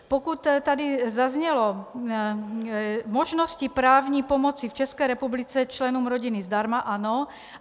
Pokud tady zaznělo: možnosti právní pomoci v České republice členům rodiny zdarma - ano.